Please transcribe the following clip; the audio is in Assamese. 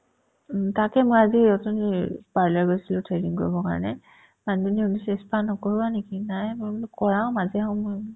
উম, তাকে মই আজি অথনি parlor গৈছিলো threading কৰিবৰ কাৰণে মানুহজনী সুধিছে spa নকৰোৱা নেকি নাই মই বোলো কৰাও মাজে সময়ে বোলো